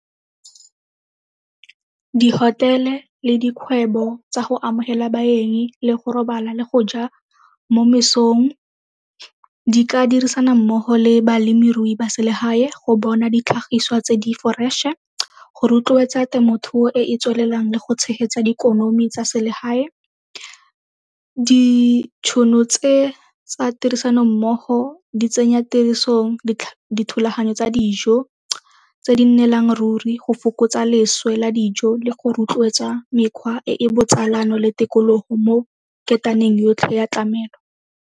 Di-hotel-e le dikgwebo tsa go amogela baeng le go robala le go ja mo mesong di ka dirisana mmogo le balemirui ba selegae go bona ditlhagiswa tse di fresh-e, go rotloetsa temothuo e e tswelelang le go tshegetsa dikonomi tsa selegae. Ditšhono tse tsa tirisanommogo di tsenya tirisong dithulaganyo tsa dijo tse di nnelang ruri go fokotsa leswe la dijo le go rotloetsa mekgwa e e botsalano le tikologo mo ketaneng yotlhe ya tlamelo.